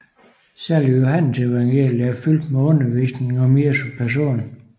Særligt Johannesevangeliet er fyldt med undervisning om Jesu person